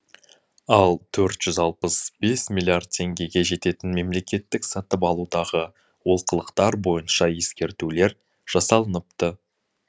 ал төрт жүз алпыс бес миллиард теңгеге жететін мемлекеттік сатып алудағы олқылықтар бойынша ескертулер жасалыныпты